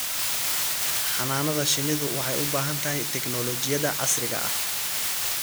Xannaanada shinnidu waxay u baahan tahay tignoolajiyada casriga ah.